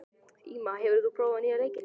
Íma, hefur þú prófað nýja leikinn?